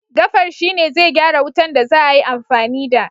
gafar shi ne zai gyara wutan da za a yi amfani da